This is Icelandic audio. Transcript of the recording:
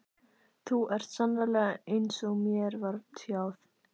Þú ert sannarlega eins falleg og mér var tjáð.